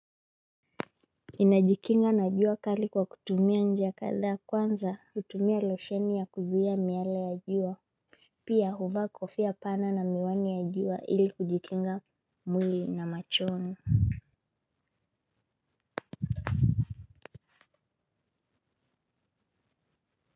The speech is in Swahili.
Ninajikinga na jua kali kwa kutumia njia kadhaa. Kwanza kutumia losheni ya kuzuia miale ya jua. Pia huvaa kofia pana na miwani ya jua ili kujikinga mwili na machoni.